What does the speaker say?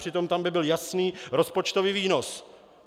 Přitom tam by byl jasný rozpočtový výnos.